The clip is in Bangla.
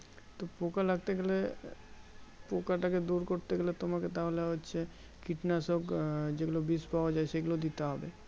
তো পোকা লাগতে গেলে পোকাটাকে দূর করতে গেলে তোমাকে তাহলে হচ্ছে কীটনাশক আহ যে গুলো বিষ পাওয়া যায় সেগুলো দিতে হবে